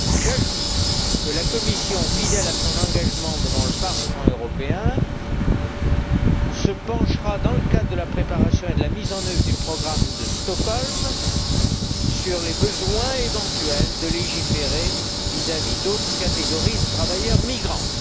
J'ajoute que la Commission, fidèle à son engagement devant le Parlement européen, se penchera, dans le cadre de la préparation et de la mise en œuvre du programme de Stockholm, sur le besoin éventuel de légiférer vis à vis d'autres catégories de travailleurs migrants.